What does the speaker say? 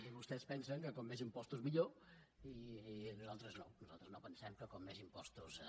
i vostès pensen que com més impostos millor i nosaltres no nosaltres no pensem que com més impostos millor